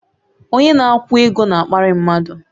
Onye na-akwụ ego na-akparị mmadụ